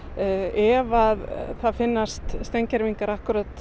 ef að það finnast steingervingar akkúrat